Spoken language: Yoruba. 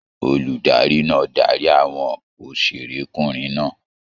Olùdarí náà darí àwọn òṣèrékùnrin náà.